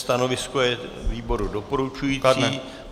Stanovisko výboru je doporučující.